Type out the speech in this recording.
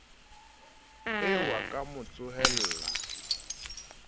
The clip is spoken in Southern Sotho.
eo a ka mo tsohela